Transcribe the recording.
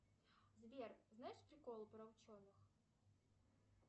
сбер знаешь приколы про ученых